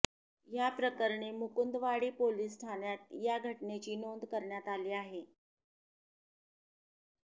या प्रकरणी मुकुंदवाडी पोलीस ठाण्यात या घटनेची नोंद करण्यात आली आहे